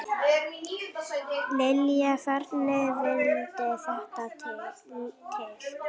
Lillý: Hvernig vildi þetta til?